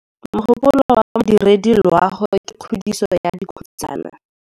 Mogôpolô wa Modirediloagô ke kgodiso ya dikhutsana.